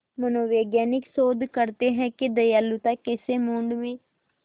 मनोवैज्ञानिक शोध करते हैं कि दयालुता कैसे मूड में